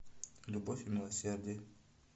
любовь и милосердие